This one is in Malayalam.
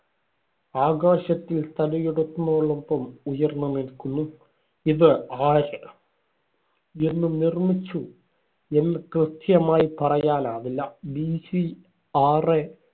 ആകാശത്തിൽ തലയെടുപ്പിനോടൊപ്പം ഉയർന്നു നിൽക്കുന്നു. ഇത് ആര് എന്നു നിർമിച്ചു? എന്നു കൃത്യമായി പറയാനാവില്ല. BC ആറ്